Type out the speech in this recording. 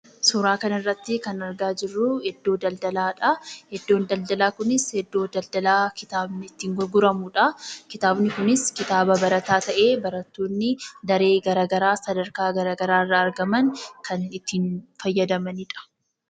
Suuraa kana irratti kan argaa jirruu, iddoo daldalaadha. Iddoon daldalaa kunis iddoo daldalaa kitaabni itti gurguramudha. Kitaabni kunis kitaaba barataa ta'ee barattoonni daree garaagaraa, sadarkaa garaagaraa irraa argaman kan ittiin fayyadamanidha.